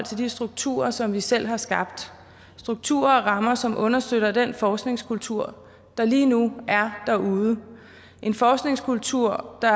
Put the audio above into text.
de strukturer som vi selv har skabt strukturer og rammer som understøtter den forskningskultur der lige nu er derude en forskningskultur der